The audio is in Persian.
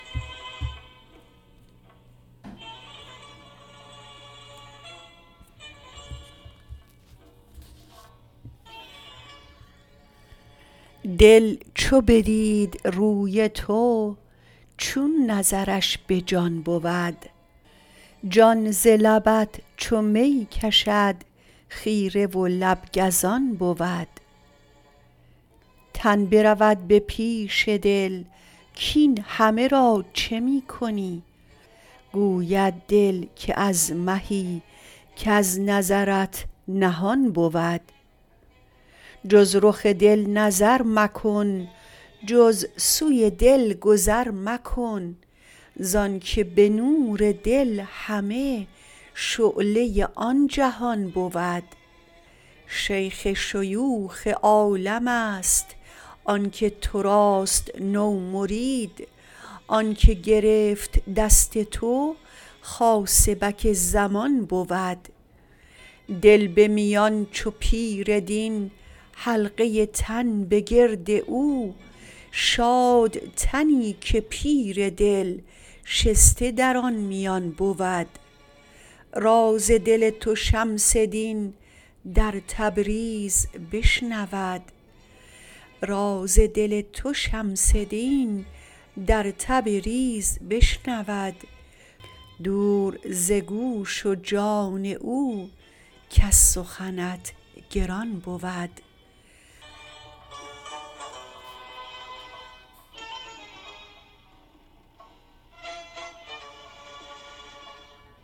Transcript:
دل چو بدید روی تو چون نظرش به جان بود جان ز لبت چو می کشد خیره و لب گزان بود تن برود به پیش دل کاین همه را چه می کنی گوید دل که از مهی کز نظرت نهان بود جز رخ دل نظر مکن جز سوی دل گذر مکن زانک به نور دل همه شعله آن جهان بود شیخ شیوخ عالمست آن که تو راست نومرید آن که گرفت دست تو خاصبک زمان بود دل به میان چو پیر دین حلقه تن به گرد او شاد تنی که پیر دل شسته در آن میان بود راز دل تو شمس دین در تبریز بشنود دور ز گوش و جان او کز سخنت گران بود